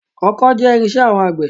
Ọkọ́ jẹ́ irin-iṣẹ́ àwọn àgbẹ̀